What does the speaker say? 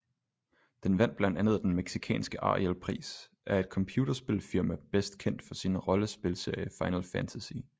Den vandt blandt andet den mexicanske arielprisEr et computerspilfirma bedst kendt for sin rollespilserie final fantasy